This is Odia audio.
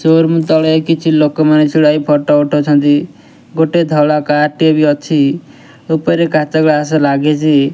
ସୋରୁମ୍ ତଳେ କିଛି ଲୋକମାନେ ଛିଡ଼ା ହେଇ ଫଟୋ ଉଠଉଛନ୍ତି ଗୋଟେ ଧଳା କାର୍ ଟିଏ ବି ଅଛି ଉପରେ କାଚ ଗ୍ଲାସ୍ ଲାଗିଚି।